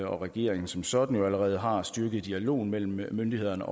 og regeringen som sådan allerede har styrket dialogen mellem myndighederne